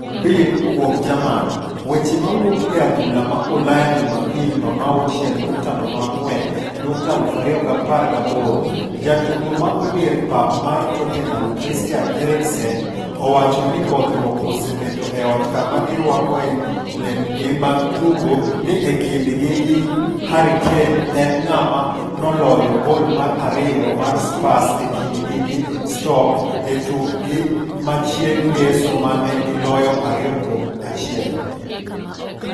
(Bild - kuom jerman) Weche mawuok e adhula ma Ulaya Jumapil 06.04.2018. Ja tugo mago dier pap mar Tottenham Christian Eriksen owacho ni bodhruok osebedo e ot kama gi rwakoe lepgi mag tugo ni e kindgi gi Harry Kane en ng'ama noloyo gol mar ariyo mar Spurs e kindgi gi Stoke e tukgi ma chieng' ngeso mane giloyo 2-1.